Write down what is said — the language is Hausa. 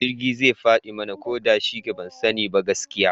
Jirgi zai fadi mana, ko da shike ban sani ba gaskiya